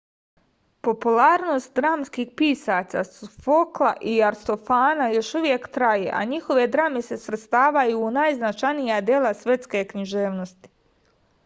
popularnost dramskih pisaca sofokla i aristofana još uvek traje a njihove drame se svrstavaju u najznačajnija dela svetske književnosti